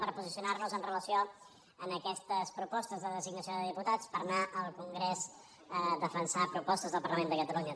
per posicionar nos amb relació a aquestes propostes de designació de diputats per anar al congrés a defensar propostes del parlament de catalunya